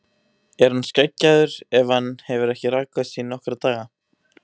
Er hann skeggjaður ef hann hefur ekki rakað sig í nokkra daga?